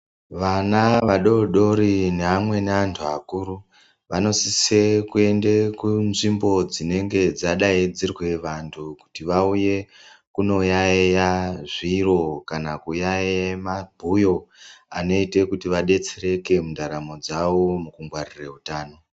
Vana vadodori neamweni anthu akuru vanosise kuende kunzvimbo dzinenge dzadaidzirwe vanthu kuti vauye kunoyaiye zviro kana kuyaiye mabhuyo anoite kuti vadetsereke mundaramo dzawo mukungwarire utano.